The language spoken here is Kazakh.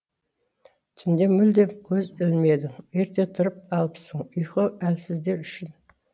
түнде мүлдем көз ілмедің ерте тұрып алыпсың ұйқы әлсіздер үшін